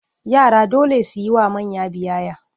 Yara dole su yi wa manya biyayya.